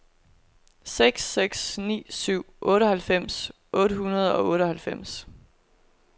seks seks ni syv otteoghalvfems otte hundrede og otteoghalvfems